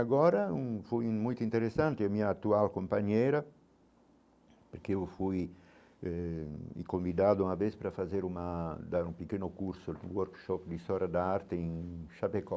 Agora hum foi muito interessante, minha atual companheira, porque eu fui eh convidado uma vez para fazer uma dar um pequeno curso no workshop de História da Arte em Chapecó.